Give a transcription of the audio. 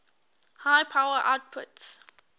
high power outputs